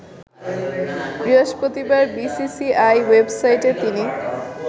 বৃহস্পতিবার বিসিসিআই ওয়েবসাইটে তিনি